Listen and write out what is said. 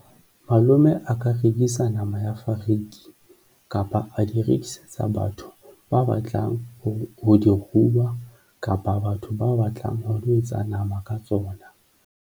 Malome a ka rekisa nama ya fariki kapa a di rekisetsa batho ba batlang ho di ruha kapa batho ba batlang ho lo etsa nama ka tsona.